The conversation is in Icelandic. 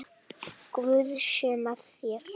Guð sé með þér.